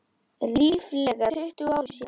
Ríflega tuttugu árum síðar.